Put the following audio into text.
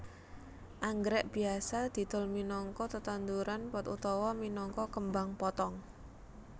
Anggrèk biasa didol minangka tetanduran pot utawa minangka kembang potong